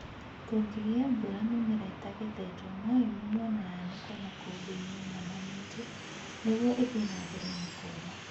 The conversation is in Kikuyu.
Kũngĩgĩa mbura mimera itagetetwo, no ĩmunywo na yanĩkwo maƙũmbĩini ĩinamanĩtio nĩgwo ĩthiĩ na mbere na kũũma